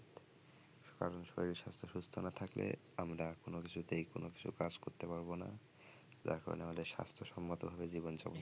কারণ শরীর স্বাস্থ্য সুস্থ না থাকলে আমরা কোন কিছুতেই কোন কিছু কাজ করতে পারবোনা যার কারণে আমাদের স্বাস্থ্যসম্মতভাবে জীবনযাপন